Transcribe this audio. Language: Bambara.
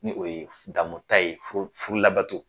Ni o ye damu ta ye furu furu labato.